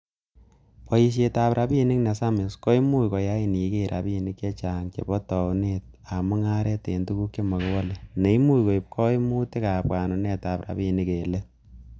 Boisietab rabinik ne samis, komuch koyain iger rabinik che chang chebo taunet ab mungaret en tuguk chemokiwole, neimuch koiib koimutik ab bwanunetab rabinik en let.